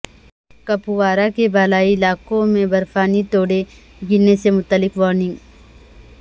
کپوارہ کے بالائی علاقوں میں برفانی تودے گرنے سے متعلق وارننگ